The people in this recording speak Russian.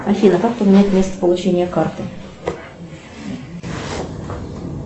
афина как поменять место получения карты